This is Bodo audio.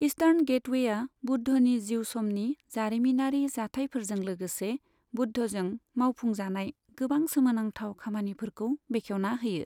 ईस्टार्न गेटवेआ बुद्धनि जिउ समनि जारिमिनारि जाथायफोरजों लोगोसे बुद्धजों मावफुंजानाय गोबां सोमोनांथाव खामानिफोरखौ बेखेवना होयो।